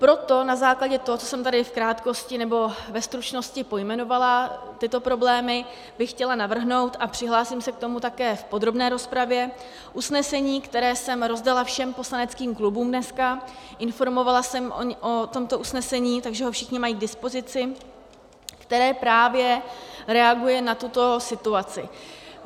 Proto na základě toho, co jsem tady v krátkosti, nebo ve stručnosti pojmenovala, tyto problémy, bych chtěla navrhnout, a přihlásím s k tomu také v podrobné rozpravě, usnesení, které jsem rozdala všem poslaneckým klubům dneska, informovala jsem o tomto usnesení, takže ho všichni mají k dispozici, které právě reaguje na tuto situaci.